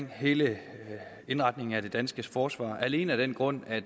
hele indretningen af det danske forsvar alene af den grund at